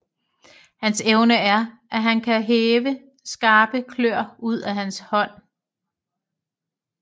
Hans evne er at han kan hæve skarpe klør ud af hans hånd